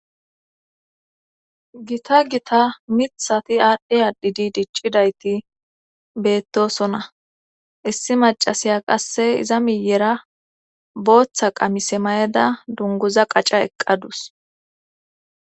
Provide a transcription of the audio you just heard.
Gita gita mithati aadhe adhidi diccidayti beettosona issi macasiya qasse iza miyera booththa qamise mayeda dunguza qaca eqqadus